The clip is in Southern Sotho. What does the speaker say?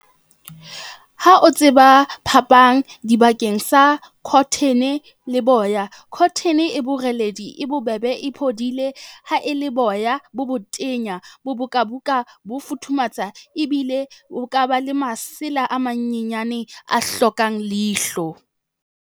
Ha o tseba phapang dibakeng sa cotton-e le boya. Cotton-e e boreledi, e bobebe, e phodile ha e le boya bo botenya, bo buka buka, bo futhumatsa ebile o ka ba le masela a manyenyane a hlokang leihlo.